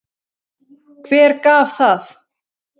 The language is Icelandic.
Hver gaf það?